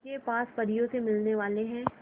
के पास परियों से मिलने वाले हैं